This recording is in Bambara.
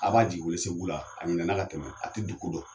A b'a jigin welesebugu la a ɲinɛna ka tɛmɛ a tɛ du ko dɔ